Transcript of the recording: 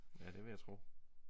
Ja det vil jeg tro